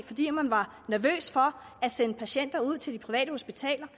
fordi man var nervøs for at sende patienter ud til de private hospitaler